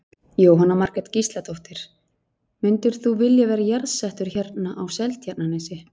Jóhanna Margrét Gísladóttir: Mundir þú vilja vera jarðsettur hérna á Seltjarnarnesi?